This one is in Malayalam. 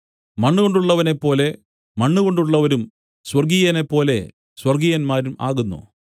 മണ്ണുകൊണ്ടുള്ളവനെപ്പോലെ മണ്ണുകൊണ്ടുള്ളവരും സ്വർഗ്ഗീയനെപ്പോലെ സ്വർഗ്ഗീയന്മാരും ആകുന്നു